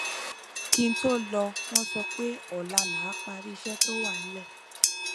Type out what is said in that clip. kí n tó lọ wọn sọ pé ọla là á parí iṣẹ to wà nílẹ